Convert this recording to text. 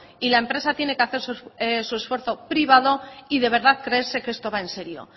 y la empresa tiene que hacer su esfuerzo privado y de verdad creerse que esto va en serio